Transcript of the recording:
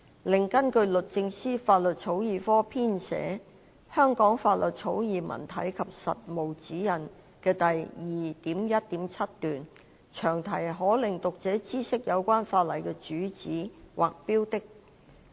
另外，根據律政司法律草擬科編寫的《香港法律草擬文體及實務指引》第 2.1.7 段，詳題可令讀者知悉有關法例的主旨或標的。